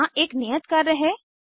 यहाँ एक नियत कार्य है 1